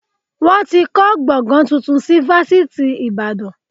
Wọn ti kọ́ gbọ̀ngán tuntun si fásitì ìbàdàn